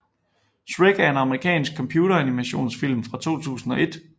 Shrek er en amerikansk computeranimationsfilm fra 2001